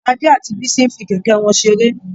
Ade àti Bisi n fí kẹkẹ wọn seré.